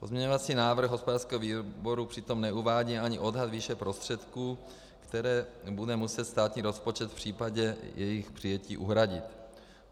Pozměňovací návrh hospodářského výboru přitom neuvádí ani odhad výše prostředků, které bude muset státní rozpočet v případě jejich přijetí uhradit.